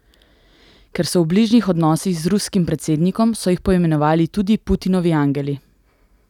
Ker so v bližnjih odnosih z ruskim predsednikom, so jih poimenovali tudi Putinovi angeli.